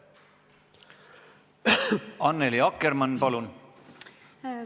Annely Akkermann, palun!